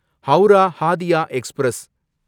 Howrah Hatia express